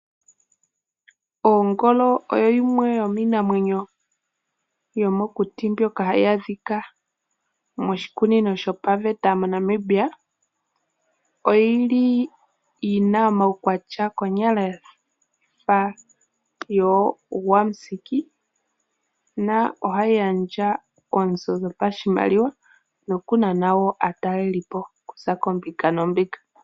Ongolo oyo yimwe yomiinamwenyo yomokuti mbyoka hayi adhika moshikunino shopaveta moNamibia. Oyi li yina omaukwatya konyala gafa yoogwamusiki . Ohayi gandja oozo dhopashimaliwa nokunana aatalelipo okuza koombinga noombinga.